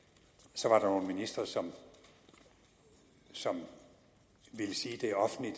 så var der nogle ministre som ville sige det offentligt